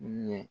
Ɲɛ